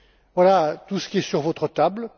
Voilà tout ce qui est sur votre table.